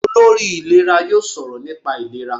Olórí ìlera yóò sọ̀rọ̀ nípa ìlera.